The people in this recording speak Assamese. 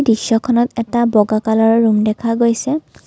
দৃশ্যখনত এটা বগা কলাৰৰ ৰুম দেখা গৈছে।